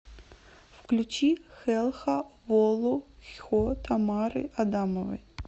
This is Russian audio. включи хелха волу хьо тамары адамовой